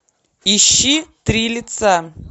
ищи три лица